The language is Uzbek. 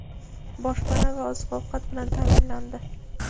boshpana va oziq-ovqat bilan ta’minlandi.